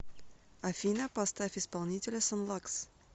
афина поставь исполнителя сон лакс